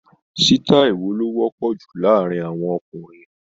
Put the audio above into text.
Sítáì wo ló wọ́pọ̀ jù láàárín àwọn ọkùnrin?